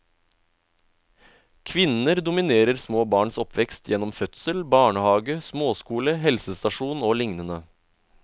Kvinner dominerer små barns oppvekst gjennom fødsel, barnehage, småskole, helsestasjon og lignende.